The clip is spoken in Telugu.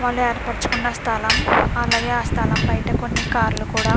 వాళ్ళు ఏర్పరచుకున్న స్థలం. అలాగే ఆ స్థలం బయట కొన్ని కార్ లు కూడా--